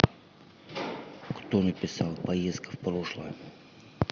кто написал поездка в прошлое